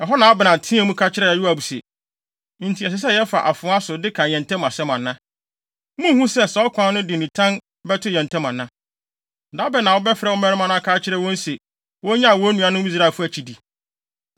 Ɛhɔ na Abner teɛɛ mu, ka kyerɛɛ Yoab se, “Enti, ɛsɛ sɛ daa yɛfa afoa so de ka yɛn ntam asɛm ana? Munnhu sɛ, saa ɔkwan no de nitan bɛto yɛn ntam ana? Da bɛn na wobɛfrɛ wo mmarima no aka akyerɛ wɔn se, wonnyae wɔn nuanom Israelfo akyidi?”